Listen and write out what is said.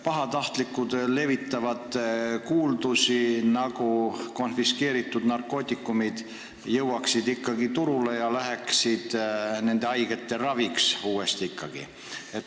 Pahatahtlikud levitavad kuuldusi, nagu konfiskeeritud narkootikumid jõuaksid ikkagi uuesti turule ja läheksid nende haigete ravimiseks.